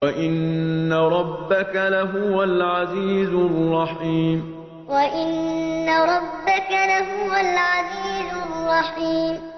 وَإِنَّ رَبَّكَ لَهُوَ الْعَزِيزُ الرَّحِيمُ وَإِنَّ رَبَّكَ لَهُوَ الْعَزِيزُ الرَّحِيمُ